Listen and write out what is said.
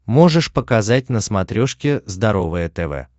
можешь показать на смотрешке здоровое тв